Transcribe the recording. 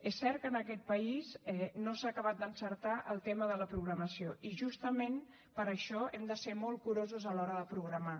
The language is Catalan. és cert que en aquest país no s’ha acabat d’encertar el tema de la programació i justament per això hem de ser molt curosos a l’hora de programar